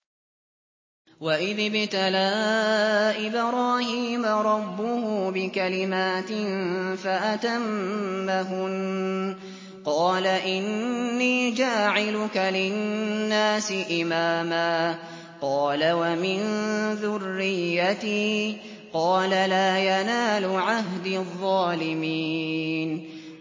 ۞ وَإِذِ ابْتَلَىٰ إِبْرَاهِيمَ رَبُّهُ بِكَلِمَاتٍ فَأَتَمَّهُنَّ ۖ قَالَ إِنِّي جَاعِلُكَ لِلنَّاسِ إِمَامًا ۖ قَالَ وَمِن ذُرِّيَّتِي ۖ قَالَ لَا يَنَالُ عَهْدِي الظَّالِمِينَ